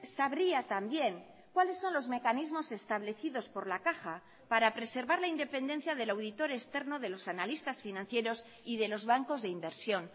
sabría también cuáles son los mecanismos establecidos por la caja para preservar la independencia del auditor externo de los analistas financieros y de los bancos de inversión